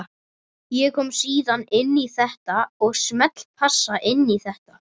Ég kom síðan inn í þetta og smellpassa inn í þetta.